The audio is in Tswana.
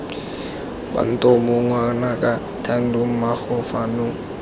bantomo ngwanaka thando mmaago fano